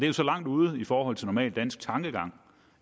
jo så langt ude i forhold til normal dansk tankegang